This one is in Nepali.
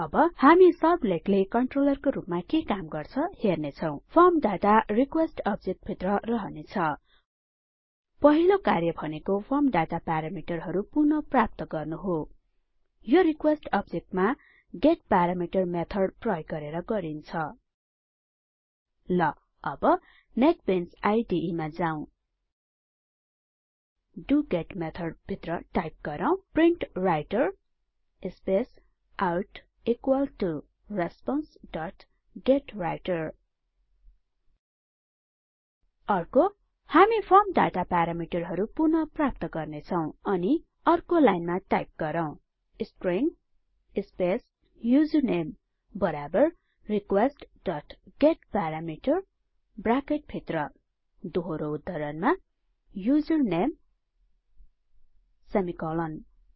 अब हामी सर्भलेटले कन्ट्रोलरको रुपमा के काम गर्छ हेर्नेछौं फर्म डाटा रिक्वेस्ट अब्जेक्ट भित्र रहने छ पहिलो कार्य भनेको फर्म डाटा प्यारामिटरहरु पुनः प्राप्त गर्नु हो यो रिक्वेस्ट अब्जेक्टमा गेटपारामिटर मेथड प्रयोग गरेर गरिन्छ ल अब नेटबिंस आईडीई मा जाँऊ डोगेट मेथड भित्र टाइप गरौँ print writer space out equal to response dot get writer अर्को हामी फर्म डाटा प्यारामिटरहरु पुनः प्राप्त गर्नेछौं अनि अर्को लाइनमा टाइप गरौँ स्ट्रिङ स्पेस युजरनेम बराबर रिक्वेस्ट डोट गेटपारामिटर ब्राकेट भित्र दोहोरो उद्धरणमा युजरनामेसेमिकोलोन